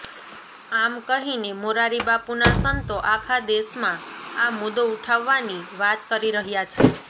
આમ કહીને મોરારીબાપુના સંતો આખા દેશમાં આ મુદ્દો ઉઠાવાની વાત કરી રહ્યા છે